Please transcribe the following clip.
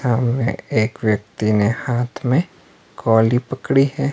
सामने एक व्यक्ति ने हाथ में खोली पकड़ी है।